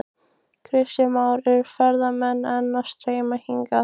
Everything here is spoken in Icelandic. Kristján Már: Eru ferðamenn enn að streyma hingað?